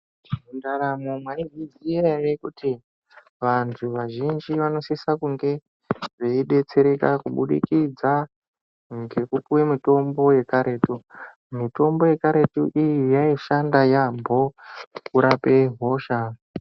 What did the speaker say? Mundaramo mwaizviziya ere kuti vantu vazhinji vanosise kunge veidetsereka kubudikidza ngekupuwe mitombo yekaretu. Mitombo yekaretu iyi yaishanda yaamho kurape hosha.